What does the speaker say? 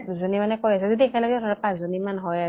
যোনি মানে কৈ আছে যদি একেলগে ধৰা পাঁছজনী মান হয় আৰু